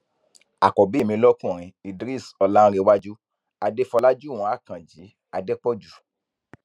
àkọbí mi lọkùnrin idris ọláǹrẹwájú adéfọlájúwọn akànjí adépọjú